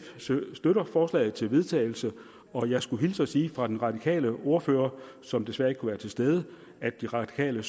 støtter forslaget til vedtagelse og jeg skulle hilse og sige fra den radikale ordfører som desværre ikke kunne være til stede at de radikale